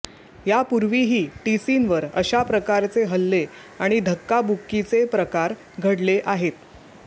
यापूर्वीही टीसींवर अशा प्रकारचे हल्ले आणि धक्काबुक्कीचे प्रकार घडले आहेत